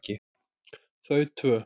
Þau tvö